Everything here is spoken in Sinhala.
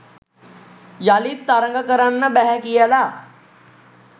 යළිත් තරග කරන්න බැහැ කියලා